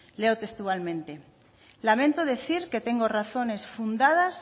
leo textualmente lamento decir que tengo razones fundadas